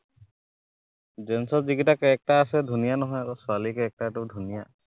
gents ৰ যে কেইটা character আছে, ধুনীয়া নহয় আক, ছোৱালীৰ character টো ধুনীয়া।